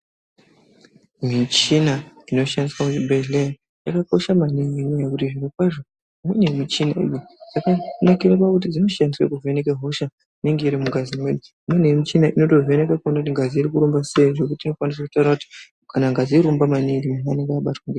Michina inoshandiswa kuzvibhedlera yakakosha maningi nenyaya yekuti nekuti zvirokwazo munemichini yakanakira kuti inoshandiswe kuvheneke hosha inenge irimungazi mwedu, munemichina inotovheneka kuwone kuti ngazi irikurumba seyi zvekuti inotokwanise kutaura kuti ngazi irikurumba maningi.